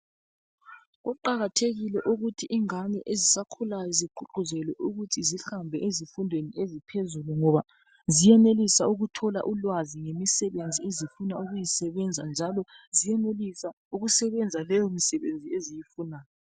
Kuqakathekile ukuthi ingane ezisakhulayo zigqugquzelwe ukuthi zihambe ezifundweni eziphezulu .Ngoba ziyenelisa ukuthola ulwazi ngemisebenzi ezifuna ukuyisebenza . Njalo ziyenelisa ukusebenza leyo misebenzi eziyifunayo .